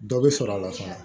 Dɔ bɛ sɔrɔ a la fana